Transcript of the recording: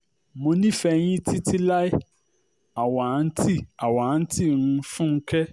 mo nífẹ̀ẹ́ yín títí láé àwáńtì àwáńtì um fúnkẹ̀